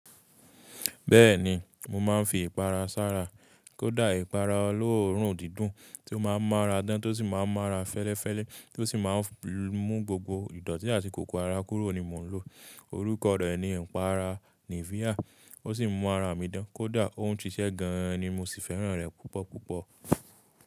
Bẹ́ẹ̀ni, mo máa ń fi ìpara sára. Kódà ìpara olóòórùn dídùn tí ó máa ń mọ́ ara dán tó sì máa ń mọ́ ara fẹ́lẹ́fẹ́lẹ́ tí ó sì máa ń mú gbogbo ìdọ̀tí àti kòkòro ara kúrò ni mò ń lò. Orúkọ rẹ̀ ni ẹ̀para Nivea. Ó sì ń mọ́ ara mi dán, kó dà. Ó ń ṣiṣẹ́ gan ni mò sì fẹ́ràn rẹ̀ púpọ̀ púpọ̀.